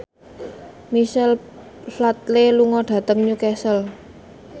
Michael Flatley lunga dhateng Newcastle